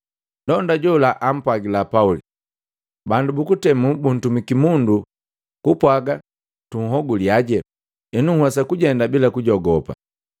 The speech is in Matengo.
Ndonda jola apwagila Pauli, “Bandu bukutemu buntumiki mundu kupwaga tunhoguliaje. Henu nhwesa kujenda bila kujogopa.”